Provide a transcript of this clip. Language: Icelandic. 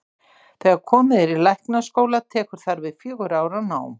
Þegar komið er í læknaskóla tekur þar við fjögurra ára nám.